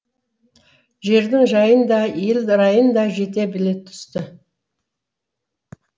жердің жайын да ел райын да жете біле түсті